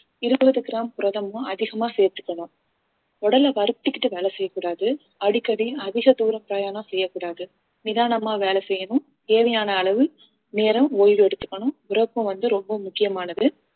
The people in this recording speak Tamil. இருபது கிராம் புரதமும் அதிகமா சேர்த்துக்கணும் உடலை வறுத்துக்கிட்டு வேலை செய்யக் கூடாது அடிக்கடி அதிக தூரம் பிரயாணம் செய்யக் கூடாது நிதானமா வேலை செய்யணும் தேவையான அளவு நேரம் ஓய்வு எடுத்துக்கணும் உறக்கம் வந்து ரொம்ப முக்கியமானது